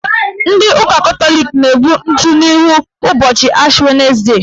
Ndị ụka Katọlik na-egbu ntụ n'ihu ụbọchị Ashi wenesde.